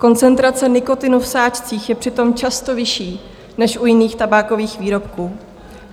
Koncentrace nikotinu v sáčcích je přitom často vyšší než u jiných tabákových výrobků.